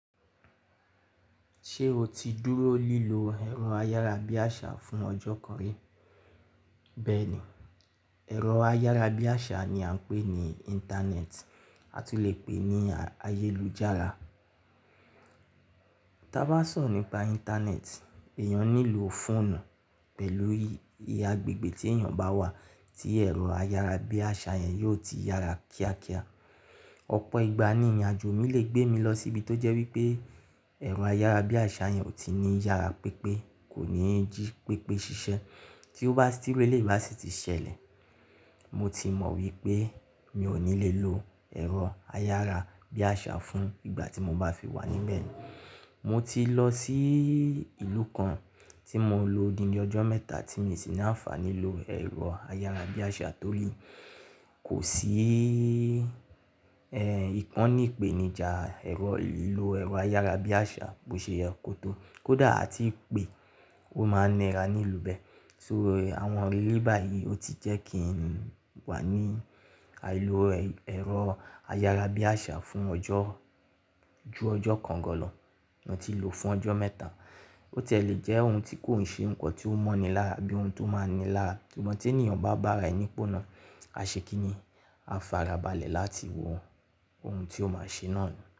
Ṣé o ti dúró lílo ẹ̀rọ ayárabíàṣá fún ọjọ́ kan rí? Bẹ́ẹ̀ni, ẹ̀rọ ayárabíàṣá ni a ń pè ní Íńtánẹ́ẹ̀tì, a tún lè pè ní ayélujára. Tí a bá sọ̀rọ̀ nípa Íńtánẹ́ẹ̀tì, èèyàn nílò fóònù pẹ̀lú agbègbè tí èèyàn bá wà tí ẹ̀rọ ayárabíàṣá yẹn yó ti yára kíákíá. Ọ̀pọ̀ ìgbà ní ìrìnàjò mi lè gbé mi lọ síbi tó jẹ́ wípé ẹ̀rọ ayárabíàṣá yẹn ò tí ní yára pípé, kò ní jí pípé ṣiṣẹ́. Tí ó bá, tí irú èléyìí Básítì ṣẹlẹ̀, mo ti mọ̀ wípé mi ò ní lè lo ẹ̀rọ ayárabíàṣá fún ìgbà tí mo bá fi wà níbẹ̀. Mo ti lọ sí ìlú kan tí mo lo odindi ọjọ́ mẹ́ta tí mi sì ná fàní lo ẹ̀rọ ayárabíàṣá tó le. Kò sí ìkànnì ìpèníjà ìlò ẹ̀rọ ayárabíàṣá bó ṣe yẹ kó tó, kódà a ti pè kó máa nira ní ìlú bẹ́ẹ̀. So àwọn ìrírí báyìí, ó ti jẹ́ kí n wà ní àìlo ẹ̀rọ ayárabíàṣá fún ọjọ́, ju ọjọ́ kan gan lọ. Mo ti lò fún ọjọ́ mẹ́ta. Ó ti ẹ lè jẹ́ ohun tí kò ṣe nǹkan tí ó mọ́ni lára bí ohun tó máa ni lára. Sugbon tí ènìyàn bá bára ẹní pọ́nà, a ṣe kí ni? A fara balẹ̀ láti wo ohun tí ó máa ṣe náà ni.